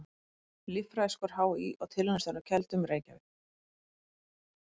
Líffræðiskor HÍ og Tilraunastöðin á Keldum, Reykjavík.